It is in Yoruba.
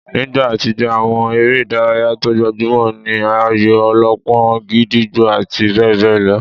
Nígbà àtijó, àwọn eré ìdárayá tó gbajúmọ̀ ní ayò-ọlọ́pọ́n, gídígbò àti bẹ́ẹ̀ bẹ́ẹ̀ lọ